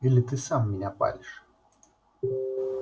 или ты сам меня палишь